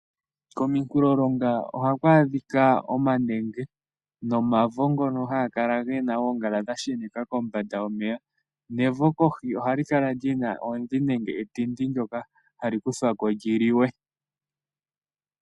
Komikulolonga ohaku adhika omanenge nomavo ngono haga kala gena oongala dha sheneka kombanda yomeya. Nevo kohi ohali kala lina oodhi nenge etindi ndyoka hali kuthwako lyi liwe.